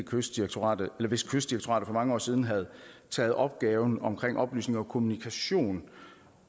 kystdirektoratet for mange år siden havde taget opgaven om oplysning og kommunikation